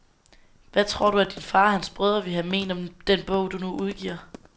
Hvad tror du, at din far og hans brødre ville have ment om den bog, du nu udgiver?